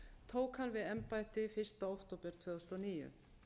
tók hann við embætti fyrsta október tvö þúsund og níu